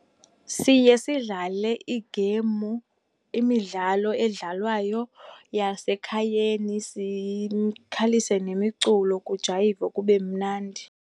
Siye sidlale igeyimu, imidlalo edlalwayo yasekhayeni sikhalise nemiculo kujayivwe kube mnandi.